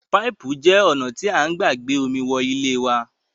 Pạipu je ona ti a n gba gbe omi wole wa